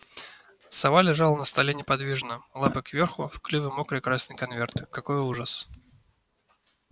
сова лежала на столе неподвижно лапы кверху в клюве мокрый красный конверт какой ужас